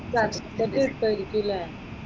Certificate കിട്ടുമായിരിക്കില്ലേ?